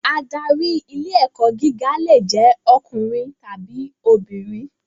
Adarí ilé-ẹ̀kọ́ gíga lè jẹ́ ọkùnrin tàbí obìnrin.